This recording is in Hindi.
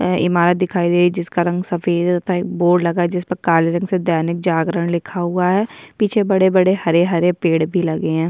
ईमारत दिखाई दे रही है जिसका रंग सफ़ेद होता है एक बोर्ड लगा है जिसपे काला रंग से दैनिक जागरण लिखा हुआ है पीछे बड़े - बड़े हरे - हरे पेड़ भी लगे है।